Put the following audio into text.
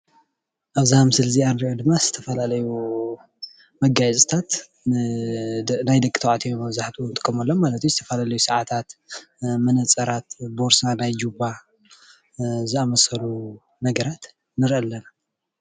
ኣብዛ ምስሊ እንርእያ ድማ ዝተፈላለዩ መጋየፅታትን ናይ ደቂተባዕትዮ መብዛሕቴኡ ንጥቀመሎም ዝተፈላለዩ ሰዓታት መነፀራት ቦርሳ ናይ ጅባ ዘኣመሰሉ ነገራት እንሬእይ ኣለና።